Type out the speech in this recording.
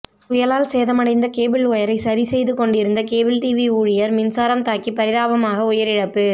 புயலால் சேதமடைந்த கேபிள் ஒயரை சரி செய்து கொண்டிருந்த கேபிள் டிவி ஊழியர் மின்சாரம் தாக்கி பரிதாபமாக உயிரிழப்பு